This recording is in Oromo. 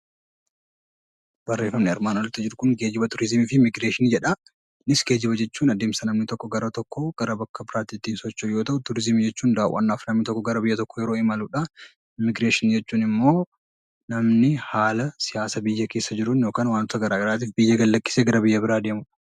Geejjiba jechuun adeemsa namni tokko iddoo tokkorraa gara biraatti geessu jechuu yoo ta'u, turizimii jechuun gara biyya tokkoo imaluudhaan immiigireeshinii jechuun immoo namni haala siyaasa biyya keessa jiruun yookaan wanta garaagaraatiif biyya gad lakkisee godaanuu jechuudha.